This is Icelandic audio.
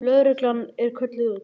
Lögreglan var kölluð út.